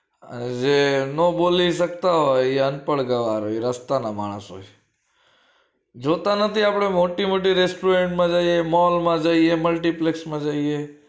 અરે નો બોલી શકતા હોય એ અનપણ ગવાર હોય એ રસ્તા નો માણસ હોય જોતા નથી આપડે મોટી મોટી restaurant મા જઈએ mall મા જઈએ multiplex માં જઈએ